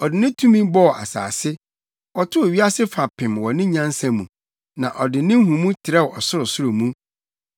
“Ɔde ne tumi bɔɔ asase; ɔtoo wiase fapem wɔ ne nyansa mu na ɔde ne nhumu trɛw ɔsorosoro mu.